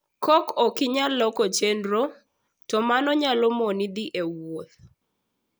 Ka ok inyal loko chenro, to mano nyalo moni dhi e wuoth.